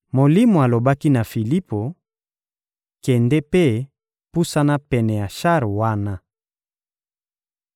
Molimo alobaki na Filipo: — Kende mpe pusana pene ya shar wana.